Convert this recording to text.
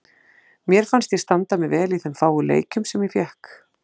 Mér fannst ég standa mig vel í þeim fáu leikjum sem ég fékk.